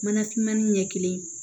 Mana finmani ɲɛ kelen